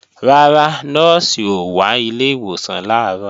Rárá, Nọ́ọ̀sì ò wá ilé ìwòsàn làárọ̀